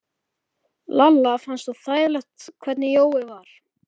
Lalla fannst svo þægilegt hvernig Jói var.